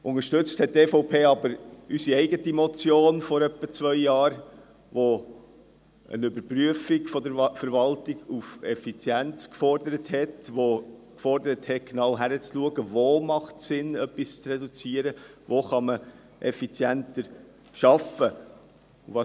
Unterstützt hat die EVP aber unsere eigene Motion , die eine Überprüfung der Verwaltung auf Effizienz gefordert hat und dass man genau hinschaut, wo es Sinn macht, zu reduzieren und wo man effizienter arbeiten kann.